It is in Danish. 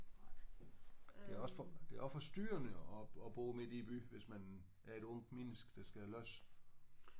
Det er også det er også forstyrrende at at bo midt inde i byen hvis man er et ungt menneske der skal løs